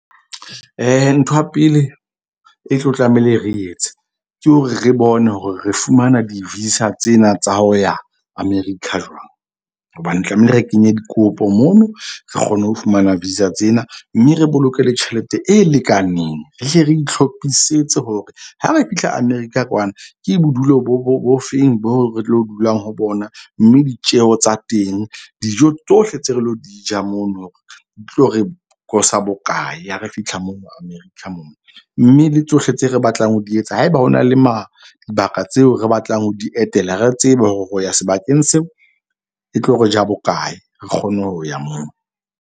Ntho ya pele e tlo tlamehile re etse ke hore, re bone hore re fumana di-visa tsena tsa ho ya America jwang. Hobane tlamehile re kenye dikopo mono, re kgone ho fumana visa tsena. Mme re bolokela tjhelete e lekaneng. Re hle re ihlophisetse hore ha re fihla America kwana. Ke bodulo bo feng bo re tlo dulang ho bona mme ditjeho tsa teng, dijo tsohle tse re lo di ja mono di tlo re bokae ha re fihla moo America moo. Mme le tsohle tse re batlang ho di etsa. Haeba ho na le mabaka tseo re batlang ho di etela, re tsebe hore ho ya sebakeng seo e tlo re ja bokae re kgone ho ya moo.